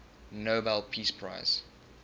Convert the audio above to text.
nobel peace prize